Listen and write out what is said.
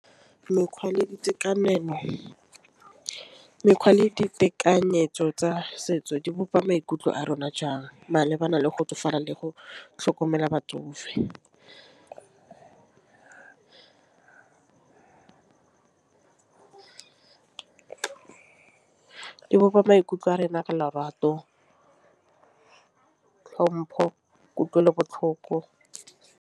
Mekgwa le ditekanyetso tsa setso di bopa maikutlo a rona jang malebana le go tsofala le go tlhokomela batsofe. E bopa maikutlo a rena ka lorato ka tlhompho kutlwelo botlhoko.